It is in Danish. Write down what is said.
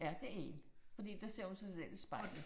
Ja, det én. Fordi der ser hun sig selv i spejlet